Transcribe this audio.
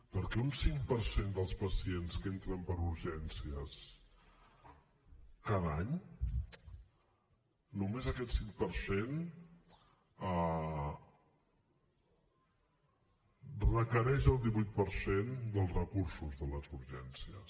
perquè un cinc per cent dels pacients que entren per urgències cada any només aquest cinc per cent requereix el divuit per cent dels recursos de les urgències